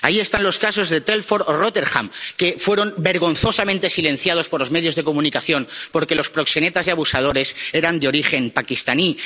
Ahí están los casos de Telford o Rotherham, que fueron vergonzosamente silenciados por los medios de comunicación porque los proxenetas y abusadores eran de origen paquistaní